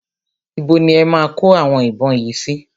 Ibo ni e máa kó àwọn ìbọn yìí sí?